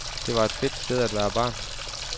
Det var et fedt sted at være barn.